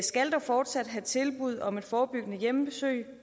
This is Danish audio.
skal dog fortsat have tilbud om et forebyggende hjemmebesøg